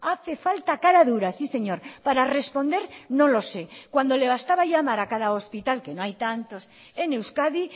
hace falta caradura sí señor para responder no lo sé cuando le bastaba llamar a cada hospital que no hay tantos en euskadi